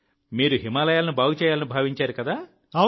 మోదీ గారు మీరు హిమాలయాలను బాగు చేయాలని భావించారు